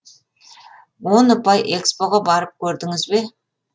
он ұпай экспо ға барып көрдіңіз бе